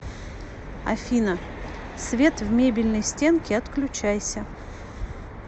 афина свет в мебельной стенке отключайся